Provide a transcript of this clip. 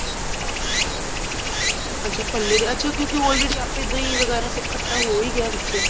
ਅੱਛਾ ਭੱਲੇ ਦੇ ਅੱਛਾ ਕਿਉਂਕਿ already ਦਹੀਂ ਵਗੇਰਾ ਸਭ ਖੱਟਾ ਹੋ ਹੀ ਗਿਆ ਵਿਚੇ